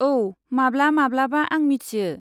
औ, माब्ला माब्लाबा आं मिथियो।